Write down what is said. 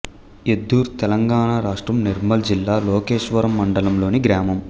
ఎద్దూర్ తెలంగాణ రాష్ట్రం నిర్మల్ జిల్లా లోకేశ్వరం మండలంలోని గ్రామం